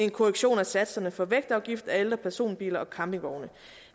en korrektion af satserne for vægtafgift af alle personbiler og campingvogne